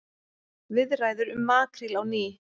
Viðræður um makríl á ný